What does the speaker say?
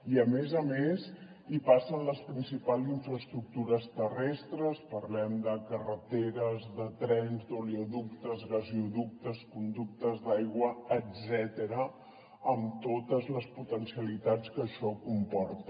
i a més a més hi passen les principals infraestructures terrestres parlem de carreteres de trens d’oleoductes gasoductes conductes d’aigua etcètera amb totes les potencialitats que això comporta